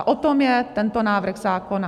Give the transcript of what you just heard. A o tom je tento návrh zákona.